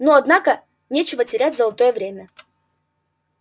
ну однако нечего терять золотое время